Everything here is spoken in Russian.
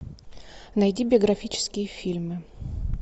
найди биографические фильмы